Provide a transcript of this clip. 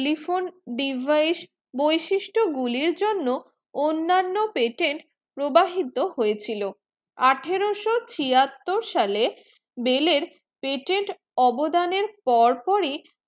telephone device বৈশিষ্ট গুলি জন্য অন্নান্ন patent প্রবাহিত হয়ে ছিল আঠারো সো ছিয়াত্তর সালে বেলের patent অবদানে পর পর ই